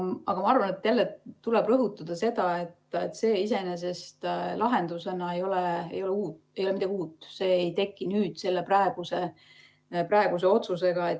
Aga ma arvan, et jälle tuleb rõhutada seda, et see iseenesest ei ole lahendusena midagi uut, see ei teki selle praeguse otsusega.